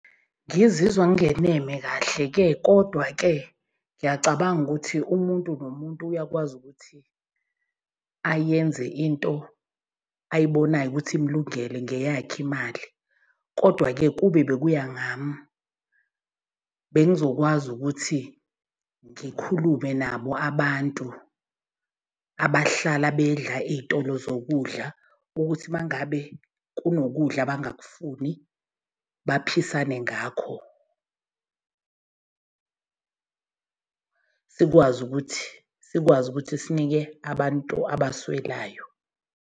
Ngizizwa ngingeneme kahle-ke kodwa-ke ngiyacabanga ukuthi umuntu nomuntu uyakwazi ukuthi ayenze into ayibonayo ukuthi imulungele ngeyakhe imali. Kodwa-ke kube bekuya ngami bengizokwazi ukuthi ngikhulume nabo abantu abahlala bedla iy'tolo zokudla, ukuthi uma ngabe kunokudla abangakufuni baphisane ngakho. Sikwazi ukuthi sikwazi ukuthi sinike abantu abaswelayo.